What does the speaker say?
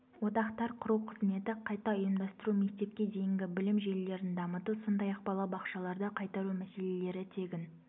одақтар құру қызметі қайта ұйымдастыру мектепке дейінгі білім желілерін дамыту сондай-ақ балабақшаларды қайтару мәселелері тегін